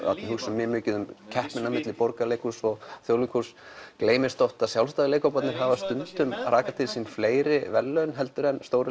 hugsum mjög mikið um keppnina milli Borgarleikhússins og Þjóðleikhússins og gleymist oft að sjálfstæðu leikhóparnir hafa stundum rakað til sín fleiri verðlaunum heldur en stóru